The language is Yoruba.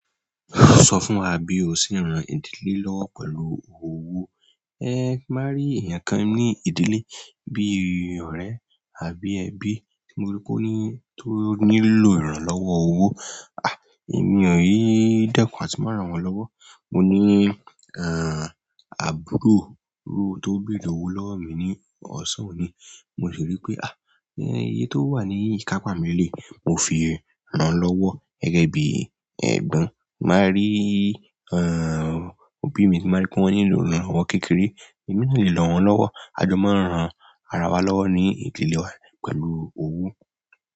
Sọ fún wa bí o ṣe ń ran ìdílé lọ́wọ́ pẹ̀lú owó. Ẹ ti n ba rí èèyàn kan ní ìdílé bí i ọ̀rẹ́ àbí ẹbí tí mo rí pé ó nílò ìrànlọ́wọ́ owó. E mii dẹ́kun àti máa rán wọn lọ́wọ́. Mo ní, àbúrò tó ń beere owó lọ́wọ́ mi ní ọ̀sán òní, mo sì rí pé, à, iye tó wà ní ìkápa mi léleyi mo fi rán lọ́wọ́. Gẹ́gẹ́ bí ẹ̀gbon, tii n ba rí, òbí mi tí bàá rí pé wọ́n nílò ìrànlọ́wọ́ kékeré, èmi lè ran wọ́n lọ́wọ́. A jọ máa ń ran ara wa lọ́wọ́ ní ìdílé wa pẹ̀lú owó.